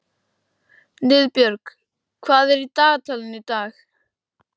Niðbjörg, hvað er í dagatalinu í dag?